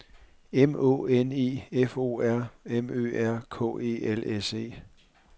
M Å N E F O R M Ø R K E L S E